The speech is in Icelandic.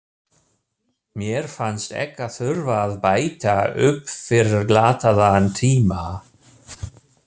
Mér fannst ég þurfa að bæta upp fyrir glataðan tíma.